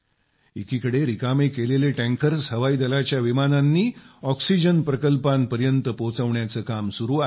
एकीकडे रिकामे केलेले टँकर्स हवाई दलाच्या विमानांनी ऑक्सिजन प्रकल्पांपर्यंत पोहोचवण्याचं काम सुरू आहे